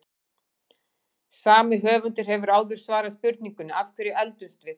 Sami höfundur hefur áður svarað spurningunni Af hverju eldumst við?